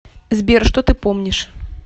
сбер что ты помнишь